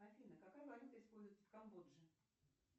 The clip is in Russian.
афина какая валюта используется в камбодже